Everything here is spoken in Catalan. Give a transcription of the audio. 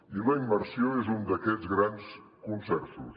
i la immersió és un d’aquests grans consensos